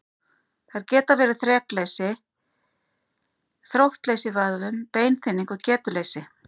Þær geta verið þrekleysi, þróttleysi í vöðvum, beinþynning og getuleysi.